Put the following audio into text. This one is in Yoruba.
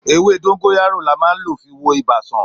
Èwè dongoyara là mà lò fi wo Ìbà san